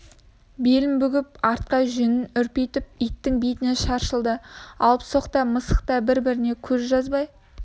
белін бүгіп арқа жүнін үрпитіп иттің бетіне шапшыды алыпсоқ та мысық та бір-бірінен көз жазбай